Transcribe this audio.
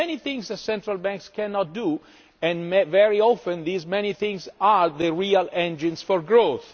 There are many things that central banks cannot do, and very often these many things add the real engines for growth.